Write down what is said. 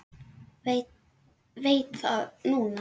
Veit það núna.